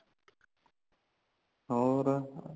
ਹੋਰ